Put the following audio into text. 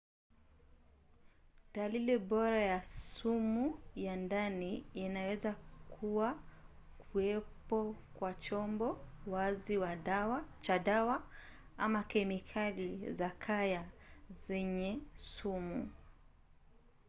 dalili bora ya sumu ya ndani inaweza kuwa kuwepo kwa chombo wazi cha dawa ama kemikali za kaya zenye sumu